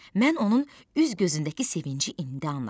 Mən onun üz-gözündəki sevinci indi anladım.